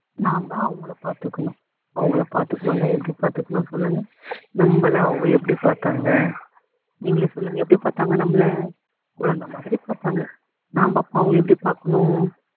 நாம அவங்கள பாத்துக்கணும் அவங்கள பாத்துக்ணும்னா எப்படி பாத்துக்ணும் சொல்லுங்க நம்மள அவங்க எப்படி பாத்தாங்க நீங்களே சொல்லுங்க எப்படி பாத்தாங்க நம்மள குழந்தை மாதிரி பாத்தாங்க நாம அப்ப அவங்கள எப்படி பாக்கணும்